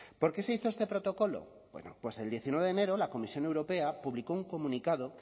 por qué se hizo este protocolo bueno pues el diecinueve de enero la comisión europea publicó un comunicado